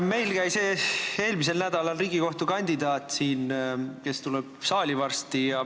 Meil käis eelmisel nädalal siin Riigikohtu liikme kandidaat, kes tuleb varsti saali.